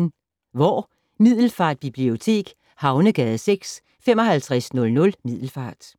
Hvor: Middelfart Bibliotek, Havnegade 6, 5500 Middelfart